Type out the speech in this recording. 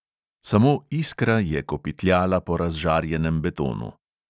Samo iskra je kopitljala po razžarjenem betonu.